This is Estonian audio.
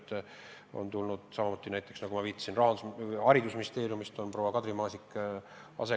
Sellele tööle, meile asekantsleriks, on tulnud samuti, enne ma temale viitasin, haridusministeeriumist proua Kadri Maasik.